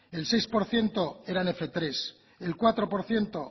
el seis por ciento eran fmenos tres el cuatro por ciento